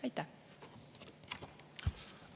Aitäh!